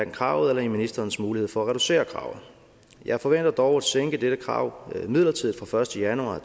kravet eller i ministerens mulighed for at reducere kravet jeg forventer dog at sænke dette krav midlertidigt fra første januar